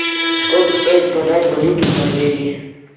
сколько стоит продать валюту в норвегии